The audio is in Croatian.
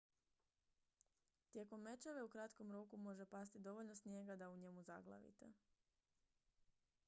tijekom mećave u kratkom roku može pasti dovoljno snijega da u njemu zaglavite